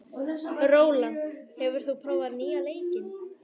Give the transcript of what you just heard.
Rólant, hefur þú prófað nýja leikinn?